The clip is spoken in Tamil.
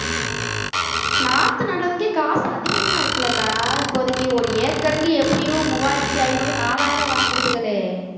நாத்து நடுறதுக்கே காசு அதிகமா இருக்குல்லக்கா இப்போதைக்கு ஒரு ஏக்கருக்கு எப்படியும் மூவாயிரத்தி ஐநூறு நாலாயிரம் வாங்கிருதுகளே